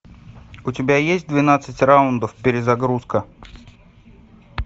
у тебя есть двенадцать раундов перезагрузка